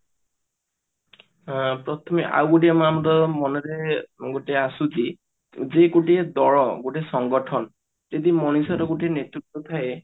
ଅ ଆଉଗୋଟିଏ ଆମର ମନରେ ଗୋଟିଏ ଆସୁଛି ଯେ ଗୋଟିଏ ଦଳ ଗୋଟିଏ ସଂଗଠନ ଯଦି ମଣିଷ ର ଗୋଟିଏ ନେତୃତ୍ଵ ଥାଏ